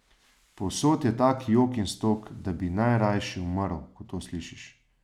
Povsod je tak jok in stok, da bi najrajši umrl, ko to slišiš.